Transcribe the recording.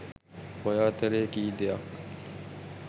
ඔය අතරේ කී දෙයක්